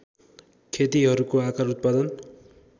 खेतीहरूको आकार उत्पादन